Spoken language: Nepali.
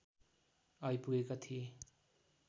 आइपुगेका थिए